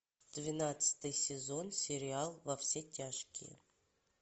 двенадцатый сезон сериал во все тяжкие